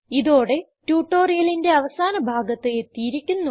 ഇതോടെ ട്യൂട്ടോറിയലിന്റെ അവസാന ഭാഗത്ത് എത്തിയിരിക്കുന്നു